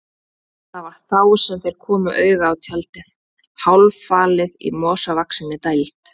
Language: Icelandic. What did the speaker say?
Það var þá sem þeir komu auga á tjaldið, hálffalið í mosavaxinni dæld.